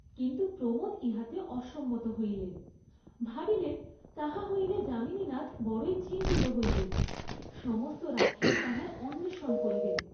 কিন্তু প্রমোদ ইহাতে অসম্মত হইলেন, ভাবিলেন তাহা হইলে যামিনীনাথ বড়ই চিন্তিত হইবেন, সমস্ত রাত্রি তাঁহার অন্বেষণ করিবেন।